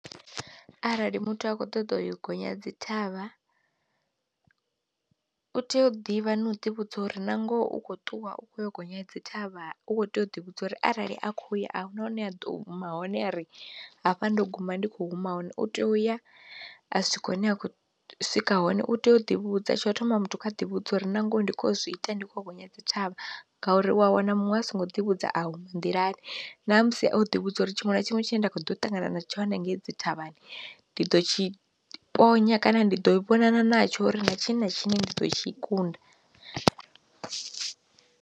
Arali muthu a kho ṱoḓa u yo gonya dzi thavha u tea u ḓivha no u ḓi vhudza uri na ngoho u khou ṱuwa u khou yo gonya dzi thavha u kho tea u ḓi vhudza uri arali a kho ya ahuna hune ha ḓo huma hone a ri hafha ndo guma ndi kho huma hone, u tea u ya a si tshikho hune a khou swika hone u tea u ḓivhudza, tsho thoma muthu kha ḓi vhudza uri nangoho ndi kho zwi ita ndi kho gonya dzi thavha ngauri wa wana muṅwe a songo ḓivhudza awu nḓilani, ṋamusi o ḓi vhu dza uri tshiṅwe na tshiṅwe tshine nda kho ḓo ṱangana na tshone ngei dzi thavhani ndi ḓo tshi ponya kana ndi ḓo vhonana natsho ri na tshina tshine ndi ḓo tshi kunda.